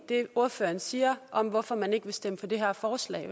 det ordføreren siger om hvorfor man ikke vil stemme for det her forslag